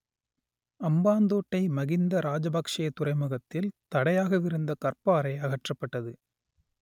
அம்பாந்தோட்டை மகிந்த ராஜபக்‌ஷே துறைமுகத்தில் தடையாகவிருந்த கற்பாறை அகற்றப்பட்டது